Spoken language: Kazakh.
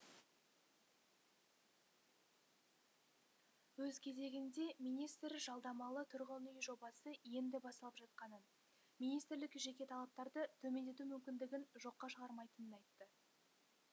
өз кезегінде министр жалдамалы тұрғын үй жобасы енді басталып жатқанын министрлік жеке талаптарды төмендету мүмкіндігін жоққа шығармайтынын айтты